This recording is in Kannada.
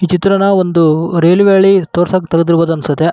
ಈ ಚಿತ್ರಣ ಒಂದು ರೈಲ್ವೆ ಹಳಿ ತೋರ್ಸಾಕ್ ತೆಗೆದಿರಬಹುದು ಅನ್ಸುತ್ತೆ.